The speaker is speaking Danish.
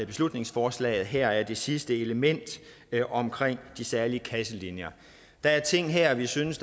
beslutningsforslaget her er det sidste element omkring de særlige kasselinjer der er ting her vi synes